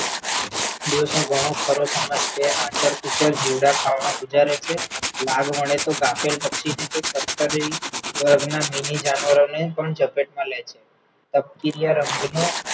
દિવસનો ઘણો ખરો સમય આચર-કુચર જીવડાં ખાવામાં ગુજારે છે, લાગ મળે તો કાપેલ પક્ષીને કંઈક કતરી ના mini જાનવરોને પણ જપેટ માં લે છે.